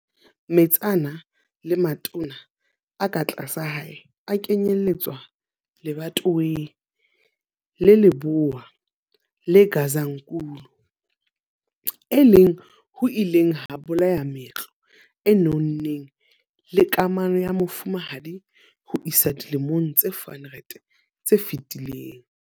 Metsana le matona a ka tlasa hae a kenyelletswa lebatoweng la Lebowa le Gazankulu e leng ho ileng ha bolaya meetlo e nonneng le kamano ya mofumahadi ho isa dilemong tse 400 tse fetileng.